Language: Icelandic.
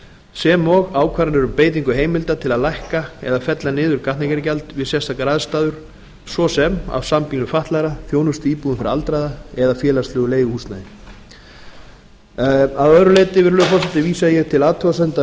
sem og ákvarðanir um beitingu heimilda til að lækka eða fella niður gatnagerðargjald við sérstakar aðstæður svo sem af sambýlum fatlaðra þjónustuíbúðum fyrir aldraða eða félagslegu leiguhúsnæði að öðru leyti virðulegur forseti vísa ég til athugasemda